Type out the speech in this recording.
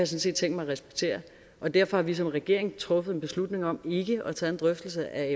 set tænkt mig at respektere derfor har vi som regering truffet en beslutning om ikke at tage en drøftelse af